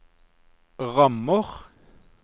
rammer